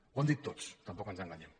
ho han dit tots tampoc ens enganyem